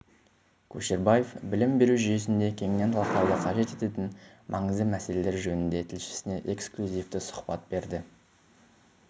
көшербаев білім беру жүйесінде кеңінен талқылауды қажет ететін маңызды мәселелер жөнінде тілшісіне экіклюзивті сұхбат берді